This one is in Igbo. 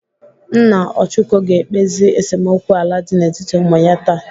Nna Ọchụko ga-ekpezi esemokwu ala dị n'etiti ụmụ ya taa.